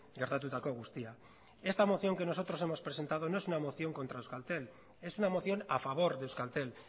gertatutako guztia esta moción que nosotros hemos presentado no es una moción contra euskaltel es una moción a favor de euskaltel